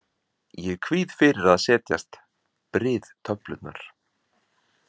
Ég kvíði fyrir að setjast, bryð töflurnar.